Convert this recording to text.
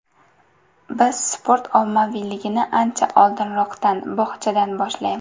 Biz sport ommaviyligini ancha oldinroqdan, bog‘chadan boshlaymiz.